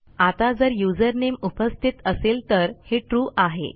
आता जर युझरनेम उपस्थित असेल तर हे ट्रू आहे